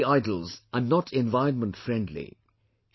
POP idols are not environment friendly"